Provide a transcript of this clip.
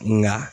Nka